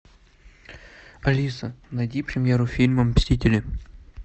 алиса найди премьеру фильма мстители